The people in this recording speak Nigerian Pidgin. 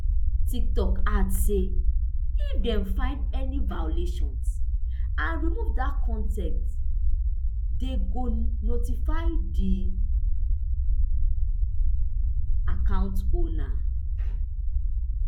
tiktok add say if dem find any violations and remove dat con ten t dem go notify di account owner